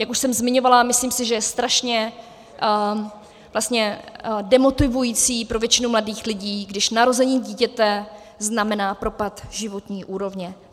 Jak už jsem zmiňovala, myslím si, že je strašně demotivující pro většinu mladých lidí, když narození dítěte znamená propad životní úrovně.